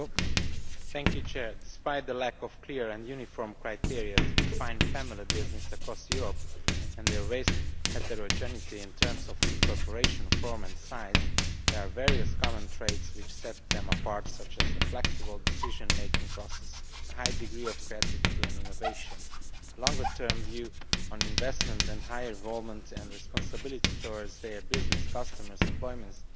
Mr President, despite the lack of clear and uniform criteria to define family business' across Europe, and their vast heterogeneity in terms of incorporation form and size, there are various common traits which set them apart, such as a flexible decision making process, a high degree of creativity and innovation, a longer term view on investment, and high involvement and responsibility towards their business, customers, employees